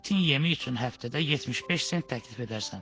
İtin yemi üçün həftədə 75 sent təklif edərsən.